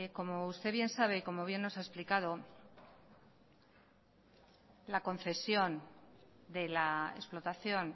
como usted bien sabe y como bien nos ha explicado la concesión de la explotación